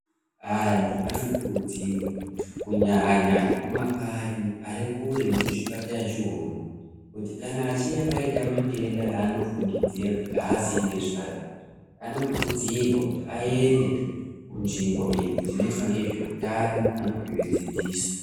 Antu anokurudzirwa kunyanya Ari kumakanyi Ari kure mezvibhedhlera nechiipatara chechirungu kuti kana pachinge paita mitenda yanofungidzira kuti azivi nezvetundayo anokurudzirwa kuti aenda Kunzvimbo iyi kuti anoita nezvehutano anopuwa dzidziso.